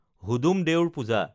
Hudum Deur Puja